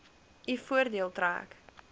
u voordeel trek